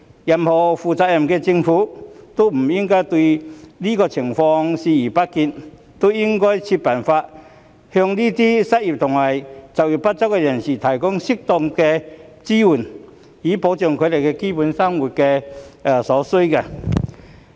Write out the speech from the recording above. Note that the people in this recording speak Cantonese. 任何負責任的政府也不應對這情況視而不見，應該設法向這些失業及就業不足人士提供適當的支援，以保障他們的基本生活所需。